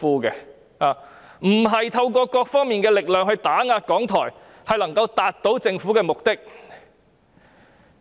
他們不應透過各方面的力量打壓港台，以為這樣便能夠達到政府的目的。